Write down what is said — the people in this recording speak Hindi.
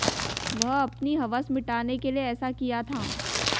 वह अपनी हवस मिटाने के लिए ऐसा किया था